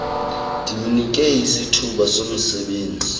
ndimnike isithuba somsebenzi